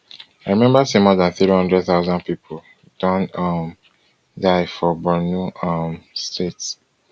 i remember say more dan three hundred thousand people don um die for borno um state